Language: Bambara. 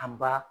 An ba